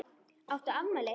Áttu afmæli?